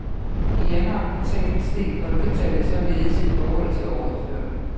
I januar kvartal steg folketallet således i forhold til året før.